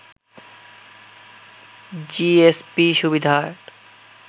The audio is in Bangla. জিএসপি সুবিধার